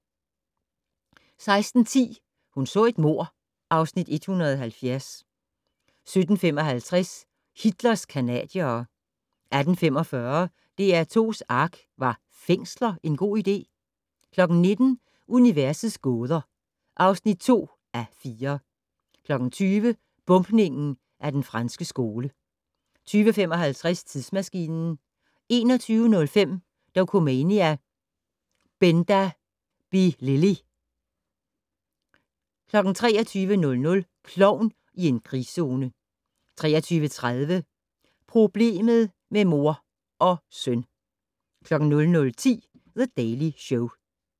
16:10: Hun så et mord (Afs. 170) 17:55: Hitlers canadiere 18:45: DR2's ARK - Var fængsler en god idé? 19:00: Universets gåder (2:4) 20:00: Bombningen af Den Franske Skole 20:55: Tidsmaskinen 21:05: Dokumania: Benda Bilili! 23:00: Klovn i en krigszone 23:30: Problemet med mor - og søn! 00:10: The Daily Show